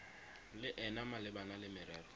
le ena malebana le merero